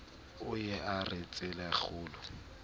o ye a re tselakgolo